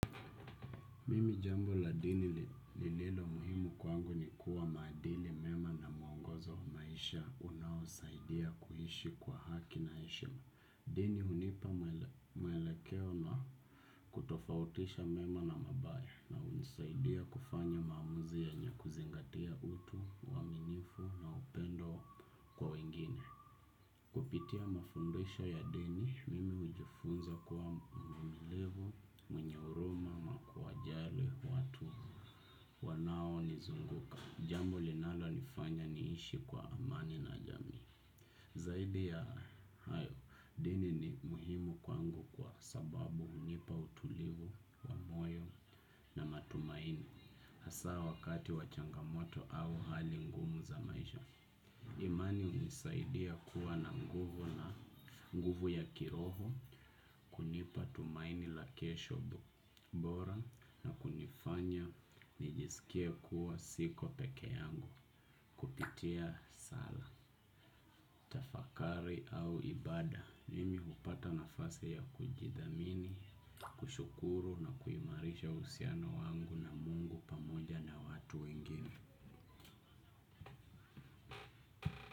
Mimi jambo la dini lililo muhimu kwangu ni kuwa maadili mema na mwongozo maisha unao saidia kuishi kwa haki na heshima. Dini hunipa maelekeo na kutofautisha mema na mabaya na hunisaidia kufanya maamuzi yenye kuzingatia utu, uaminifu na upendo kwa wengine. Kupitia mafundisho ya dini, mimi hujifunza kuwa mvumilivu, mwenye huruma, na kuwajali watu, wanao nizunguka. Jambo linalo nifanya niishi kwa amani na jamii. Zaidi ya hayo, dini ni muhimu kwangu kwa sababu hunipa utulivu wa moyo na matumaini. Hasa wakati wa changamoto au hali ngumu za maisha. Imani hunisaidia kuwa na nguvu na nguvu ya kiroho, kunipa tumaini la kesho bora na kunifanya, nijisikie kuwa siko pekee yangu, kupitia sala, tafakari au ibada, mimi hupata nafasi ya kujidhamini, kushukuru na kuimarisha uhusiano wangu na mungu pamoja na watu wengine.